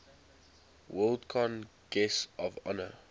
worldcon guests of honor